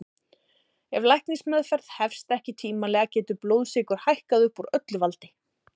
Ef læknismeðferð hefst ekki tímanlega getur blóðsykur hækkað upp úr öllu valdi.